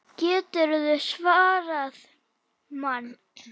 GETURÐU SVARAÐ MANNI!